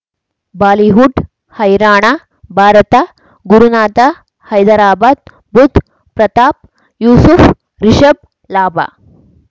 Bollywood ಹೈರಾಣ ಭಾರತ ಗುರುನಾಥ ಹೈದರಾಬಾದ್ ಬುಧ್ ಪ್ರತಾಪ್ ಯೂಸುಫ್ ರಿಷಬ್ ಲಾಭ